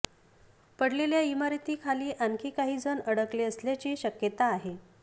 पडलेल्या इमारतींखाली आणखी काही जण अडकले असल्याची शक्यता आहे